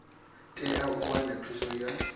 tea u wana thuso ya